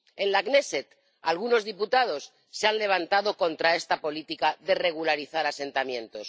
En la Knéset algunos diputados se han levantado contra esta política de regularizar asentamientos.